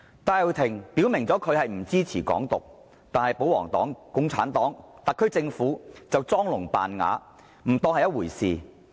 戴耀廷已表明不支持"港獨"，但保皇黨、共產黨和特區政府裝聾扮啞，不當一回事。